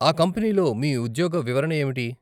ఆ కంపెనీలో మీ ఉద్యోగ వివరణ ఏమిటి?